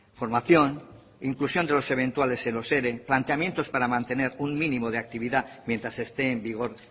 formación inclusión de los eventuales en los ere planteamientos para mantener un mínimo de actividad mientras esté en vigor